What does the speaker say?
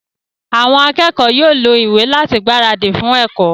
Àwọn akẹ́kọ̀ọ́ yóò lo ìwé láti gbáradì fún ẹ̀kọ́